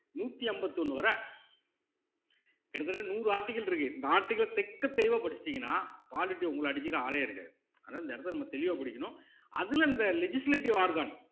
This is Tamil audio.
நூத்தி அம்பத்தி ஒண்ணு வர கிட்டத்தட்ட நூறு article இருக்கு இந்த article அ தெக்கத் தெளிவா படிச்சுட்டீங்கன்னா உங்கள அடிச்சுக்க ஆளே இருக்காது ஆனா இந்த இடத்தில நம்ம தெளிவா படிக்கணும் அதுல இந்த legislative organ